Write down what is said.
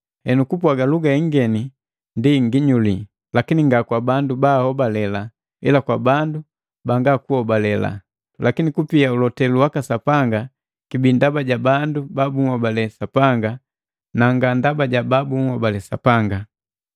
Henu kupwaga luga ingeni ndi nginyuli, lakini nga kwa bandu baahobalela, ila kwa bandu banga hobalelu, lakini kupia ulotelu waka Sapanga kibi ndaba ja bandu babuhobale Sapanga na nga ndaba babu hobale Sapanga.